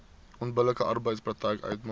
onbillike arbeidspraktyk uitmaak